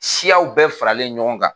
Siyaw bɛɛ faralen ɲɔgɔn kan